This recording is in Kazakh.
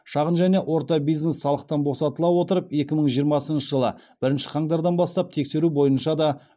шағын және орта бизнес салықтан босатыла отырып екі мың жиырмасыншы жылы бірінші қаңтардан бастап тексеру бойынша да